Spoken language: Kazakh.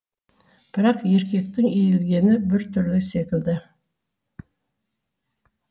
бірақ еркектің иілгені бүртүрлі секілді